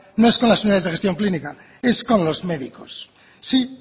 no es con las unidades de gestión clínica es con los médicos sí